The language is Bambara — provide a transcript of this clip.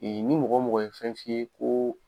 Ni mɔgɔ o mɔgɔ ye fɛn f'i ye ko